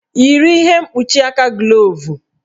Yiri ihe mkpuchi aka glovu!